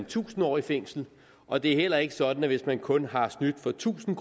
tusind år i fængsel og det er heller ikke sådan at man hvis man kun har snydt for tusind